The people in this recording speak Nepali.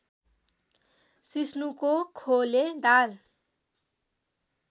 सिस्नुको खोले दाल